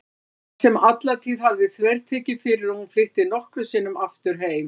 Lena sem alla tíð hafði þvertekið fyrir að hún flytti nokkru sinni aftur heim.